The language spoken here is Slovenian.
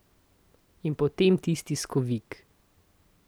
In potem tisti skovik.